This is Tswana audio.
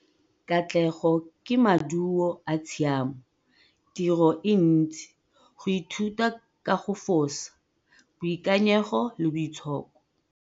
'Katlego ke maduo a tshiamo, tiro e ntsi, go ithuta ka go fosa, boikanyego le boitshoko.'